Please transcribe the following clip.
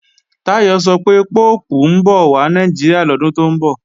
Táyọ̀ sọ pé Póòpù ń bọ̀ wà Nàìjíríà lọ́dún tó ń bọ̀